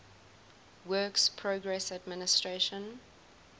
works progress administration